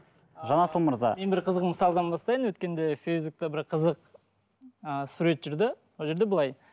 жанасыл мырза мен бір қызық мысалдан бастайын өткенде фейсбукте бір қызық ы сурет жүрді ол жерде былай